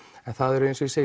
en það er eins og ég segi